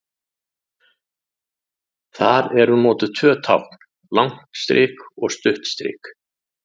Þar eru notuð tvö tákn, langt strik og stutt strik.